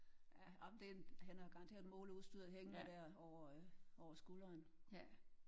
Ah ej men det en han har garanteret måleudstyret hængende der over over skulderen